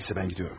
Nəysə mən gedirəm.